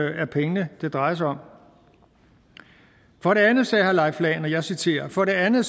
er pengene det drejer sig om for det andet sagde herre leif lahn jensen og jeg citerer for det andet